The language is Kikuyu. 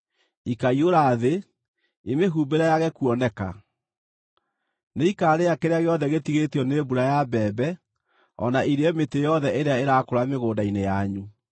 Ikaiyũra thĩ, imĩhumbĩre yage kuoneka. Nĩikarĩa kĩrĩa gĩothe gĩtigĩtio nĩ mbura ya mbembe, o na irĩe mĩtĩ yothe ĩrĩa ĩrakũra mĩgũnda-inĩ yanyu.